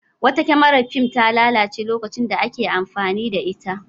Wata kyamarar fim ta lalace lokacin da ake amfani da ita.